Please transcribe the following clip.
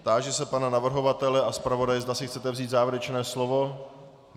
Táži se pana navrhovatele a zpravodaje, zda si chcete vzít závěrečné slovo.